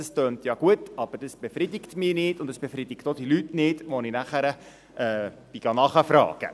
» Das tönt ja gut, befriedigt mich aber nicht und auch nicht die Leute, bei denen ich nachfragte.